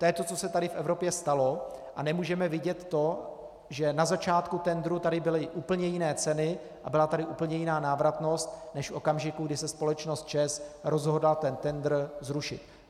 To je to, co se tady v Evropě stalo, a nemůžeme vidět to, že na začátku tendru tady byly úplně jiné ceny a byla tady úplně jiná návratnost než v okamžiku, kdy se společnost ČEZ rozhodla ten tendr zrušit.